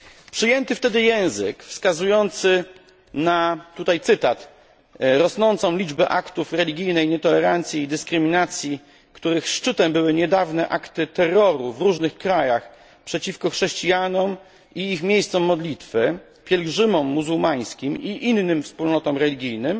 Przyjęty wtedy język, wskazujący na tutaj cytat rosnącą liczbę aktów religijnej nietolerancji i dyskryminacji, których szczytem były niedawne akty terroru w różnych krajach przeciwko chrześcijanom i ich miejscom modlitwy, pielgrzymom muzułmańskim i innym wspólnotom religijnym